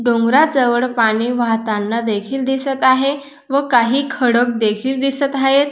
डोंगराजवळ पाणी वाहताना देखील दिसत आहे व काही खडक देखील दिसत आहेत.